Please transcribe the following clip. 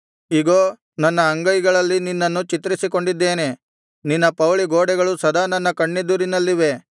ಇಗೋ ನನ್ನ ಅಂಗೈಗಳಲ್ಲಿ ನಿನ್ನನ್ನು ಚಿತ್ರಿಸಿಕೊಂಡಿದ್ದೇನೆ ನಿನ್ನ ಪೌಳಿಗೋಡೆಗಳು ಸದಾ ನನ್ನ ಕಣ್ಣೆದುರಿನಲ್ಲಿವೆ